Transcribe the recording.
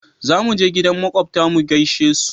za muje gidan makwabta mu gaishe su